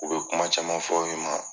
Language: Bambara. U bɛ kuma caman fɔ i ma